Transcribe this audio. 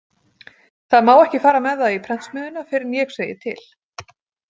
Það má ekki fara með það í prentsmiðjuna fyrr en ég segi til.